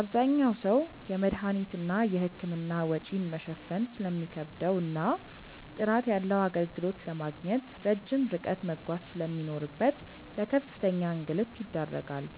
አብዛኛው ሰው የመድኃኒትና የሕክምና ወጪን መሸፈን ስለሚከብደውና ጥራት ያለው አገልግሎት ለማግኘት ረጅም ርቀት መጓዝ ስለሚኖርበት ለከፍተኛ እንግልት ይዳረጋል።